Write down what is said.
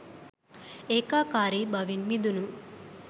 ඒකාකාරී බවෙන් මිදුණු